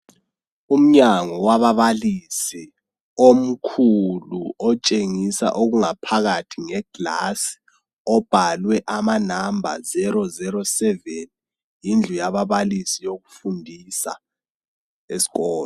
Umnyango wababalisi omkhulu otshengisa okungaphakathi ngegilasi obhalwe inombolo 007 yindlu yababalisi yokufundisa esikolo.